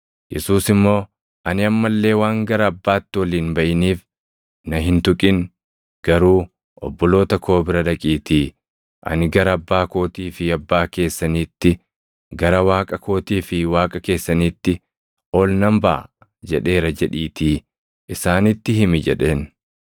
Yesuus immoo, “Ani amma illee waan gara Abbaatti ol hin baʼiniif na hin tuqin. Garuu obboloota koo bira dhaqiitii, ‘Ani gara Abbaa kootii fi Abbaa keessaniitti, gara Waaqa kootii fi Waaqa keessaniitti ol nan baʼa’ jedheera jedhiitii isaanitti himi” jedheen.